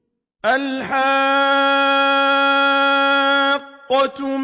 الْحَاقَّةُ